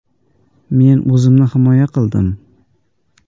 “Men o‘zimni himoya qildim.